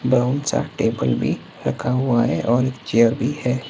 Brown सा table भी रखा हुआ है और एक चेयर भी है।